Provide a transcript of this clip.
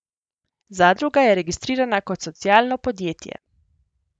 Zadruga je registrirana kot socialno podjetje.